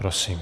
Prosím.